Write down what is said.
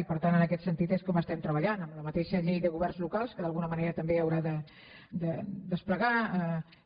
i per tant en aquest sentit és com estem treballant amb la mateixa llei de governs locals que d’alguna manera també haurà de desplegar